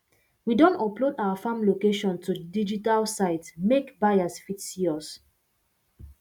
we don upload our farm location to digital site make buyers fit see us